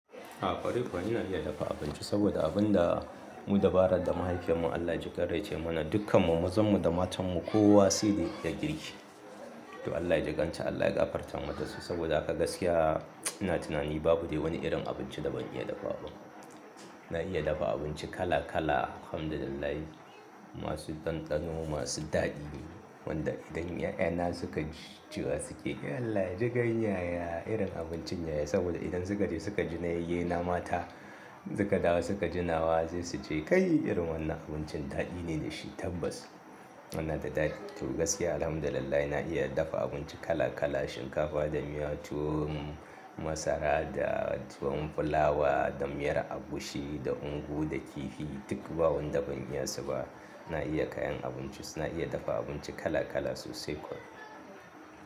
A ƙwarai kuwa ina iya dafa abinci saboda abun da mu dabarar da mahaifiyan mu Allah ya jiƙan rai ta yi mana "Dukkanmu, mazanmu da matanmu kowa saida ya iya girki." To Allah ya jiƙan ta Allah ya gafarta mata saboda haka gaskiya ina tunani babu dai wani irin abincin da ban iya dafawa ba. Na iya dafa abinci kala kala Alhamdulillah, masu ɗanɗano masu daɗi wanda idan 'ya'yana suka ji cewa suke "Allah jiƙan yaya irin abincin yaya" saboda idan suka je suka ji na yayyenama ta, suka dawo suka ji nawa sai su ce "Kai irin wannan abincin daɗi ne da shi tabbas." Wannan da daɗi to gaskiya Alhamdulillah na iya dafa abinci kala kala shinkafa da miya tuwo masara da tuwon fulawa da miyar agushi da ungu da kifi duk babu wanda ban iya sa ba. Na iya kayan abinci suna iya dafa abinci kala kala sosai kuwa.